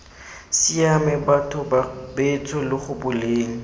siame batho betsho lo gopoleng